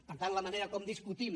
per tant la manera com discutim